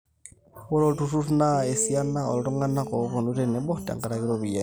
ore olturrur naa esiana ooltung'anak ooponu tenebo tenkaraki iropiyiani